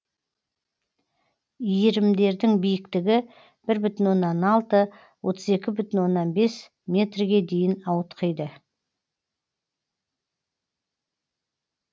иірімдердің биіктігі бір бүтін оннан алты отыз екі бүтін оннан бес метрге дейін ауытқиды